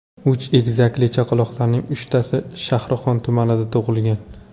Uch egizakli chaqaloqlarning uchtasi Shahrixon tumanida tug‘ilgan.